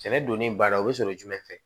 Sɛnɛ donni baara o bɛ sɔrɔ jumɛn fɛ